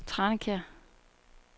Tranekær